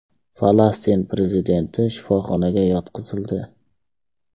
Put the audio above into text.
Falastin prezidenti shifoxonaga yotqizildi.